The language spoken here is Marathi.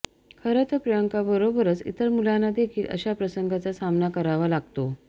खरं तर प्रियंकाबरोबरच इतर मुलांना देखील अशा प्रसंगांचा सामना करावा लागतो